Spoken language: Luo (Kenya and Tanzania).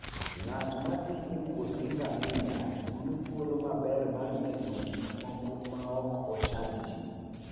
Ng'at ma thi e wuoth gi ngamia yudo thuolo maber mar neno gik moko maok ochand ji.